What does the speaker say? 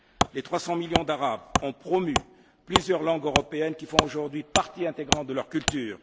Les trois cent millions d'Arabes ont promu plusieurs langues européennes qui font aujourd'hui partie intégrante de leur culture.